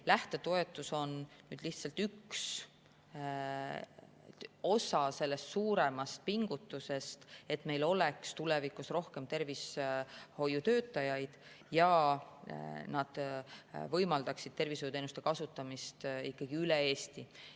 Lähtetoetus on lihtsalt üks osa sellest suuremast pingutusest, et meil oleks tulevikus rohkem tervishoiutöötajaid ja oleks võimalik tervishoiuteenuseid kasutada ikkagi üle Eesti.